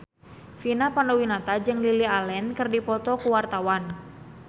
Vina Panduwinata jeung Lily Allen keur dipoto ku wartawan